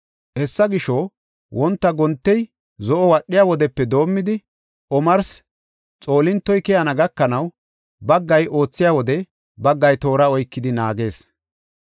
Hessa gisho, wonta gontey zo7o wadhiya wodepe doomidi omarsi xoolintoy keyana gakanaw baggay oothiya wode baggay toora oykidi naagees.